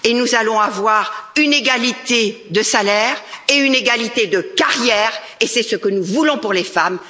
Nous allons avoir une égalité de salaire et de carrière, et c'est ce que nous voulons pour les femmes.